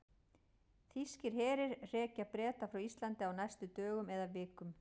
Þýskir herir hrekja Breta frá Íslandi á næstu dögum eða vikum.